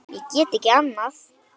Ég get ekki annað.